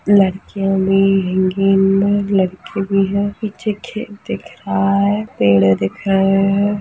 लड़कियां भी हैगी इनमें लड़के भी है पीछे खेत दिख रहा है पेड़ दिख रहे हैं।